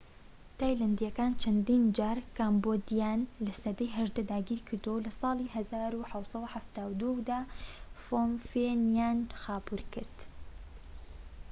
تایلەندیەکانی چەندین جار کەمبۆدیایان لە سەدەی 18 داگیر کردووە و لە ساڵی 1772دا فۆم فێنیان خاپوور کرد